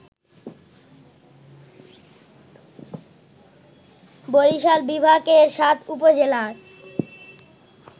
বরিশাল বিভাগের ৭ উপজেলার